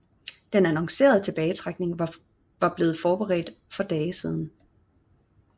Den annoncerede tilbagetrækning var blevet forberedt for dage siden